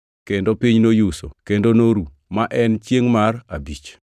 Kendo piny noyuso, kendo noru, ma en chiengʼ mar abich.